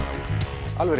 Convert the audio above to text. alveg